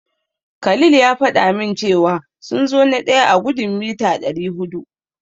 Khalil ya faɗa min cewa sun zo na daya a gudun mita dari hudu.